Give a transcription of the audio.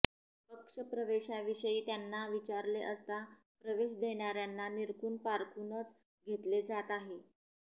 पक्ष प्रवेशाविषयी त्यांना विचारले असता प्रवेश देणार्यांना निरखून पारखूनच घेतले जात आहे